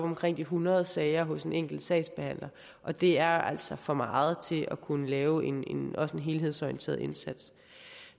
omkring de hundrede sager hos en enkelt sagsbehandler og det er altså for meget til at kunne lave en en helhedsorienteret indsats